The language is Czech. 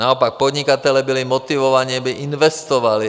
Naopak podnikatelé byli motivováni, aby investovali.